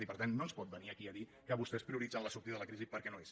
i per tant no ens pot venir aquí a dir que vostès prioritzen la sortida de la crisi perquè no és